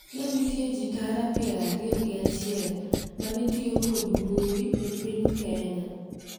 Ne nitie ji tara piero ariyo gi achiel ma ne tiyo kod mbui e piny Kenya.